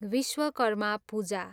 Vishwakarma Puja